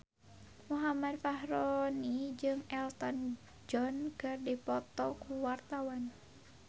Muhammad Fachroni jeung Elton John keur dipoto ku wartawan